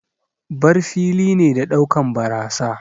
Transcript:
bar fili ne na daukan barasa.